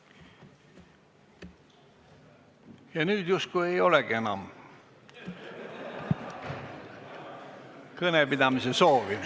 Ja nüüd justkui ei olegi enam kõnepidamise soovi.